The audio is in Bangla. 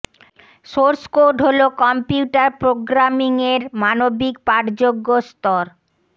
সোর্স কোড হল কম্পিউটার প্রোগ্রামিং এর মানবিক পাঠযোগ্য স্তর